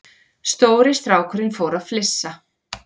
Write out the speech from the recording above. Stóri strákurinn fór að flissa.